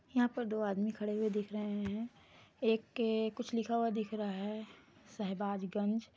यहाँ पे दो आदमी खड़े हुए दिख रहे है एक के कुछ लिखा हुआ दिख रहा है शहबाजगंज।